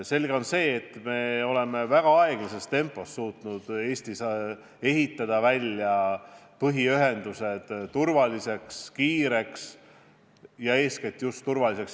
Selge see, et oleme väga aeglaselt suutnud Eestis põhiühendusi ehitada turvaliseks ja kiireks, eeskätt just turvaliseks.